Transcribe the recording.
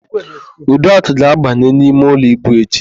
Uduak ga-abanye n'imeụlọ íbù echi.